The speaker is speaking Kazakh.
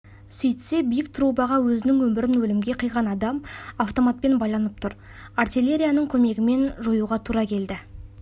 сөйтсе биік трубаға өзінің өмірін өлімге қиған адам автоматпен байланып тұр артиллерияның көмегімен жоюға тура келді